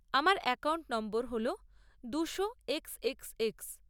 আমার অ্যাকাউন্ট নম্বর হল দুশো এক্স এক্স এক্স।